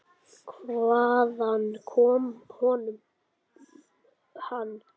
Hvaðan kom honum hann?